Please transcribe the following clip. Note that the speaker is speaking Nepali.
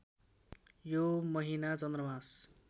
यो महिना चन्द्रमास